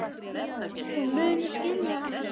Hún mun skilja hana seinna.